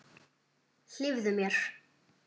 Hlífðu mér.